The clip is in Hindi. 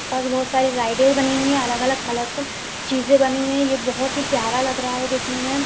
आस पास बहुत सारी रायडे बनी हुई है अलग अलग कलरफुल चीजे बनी हुई हैये बहुत ही प्यारा लग रहा है देखने में।